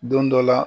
Don dɔ la